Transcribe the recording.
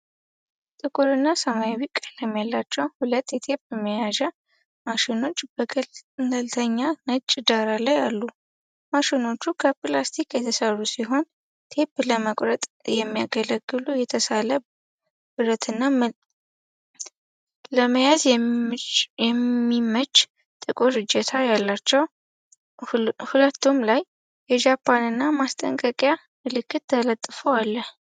ጥቁር እና ሰማያዊ ቀለም ያላቸው ሁለት የቴፕ መያዣ ማሽኖች በገለልተኛ ነጭ ዳራ ላይ አሉ። ማሽኖቹ ከፕላስቲክ የተሰሩ ሲሆን፣ ቴፕ ለመቁረጥ የሚያገለግል የተሳለ ብረትና ለመያዝ የሚያመች ጥቁር እጀታ አላቸው። ሁለቱም ላይ የጃፓንኛ ማስጠንቀቂያ ምልክት ተለጥፎ አለ።